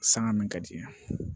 Sanga min ka di i ye